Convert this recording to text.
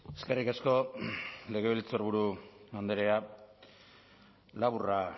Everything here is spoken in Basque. eskerrik asko legebiltzarburu andrea laburra